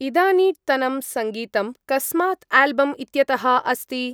इदानीट्तनं सङ्गीतं कस्मात् आल्बम् इत्यतः अस्ति?